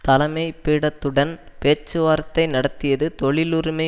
தலைமை பீடத்துடன் பேச்சுவார்த்தை நடத்தியது தொழில் உரிமை